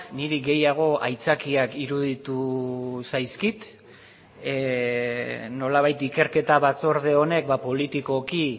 niri gehiago aitzakiak iruditu zaizkit nolabait ikerketa batzorde honek politikoki